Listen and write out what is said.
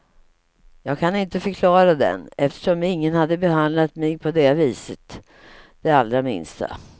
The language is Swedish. Jag kan inte förklara den, eftersom ingen hade behandlat mig på det viset det allra minsta.